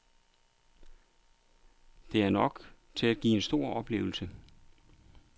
Det er nok til at give en stor oplevelse.